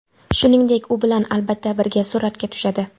Shuningdek, u bilan, albatta, birga suratga tushadi!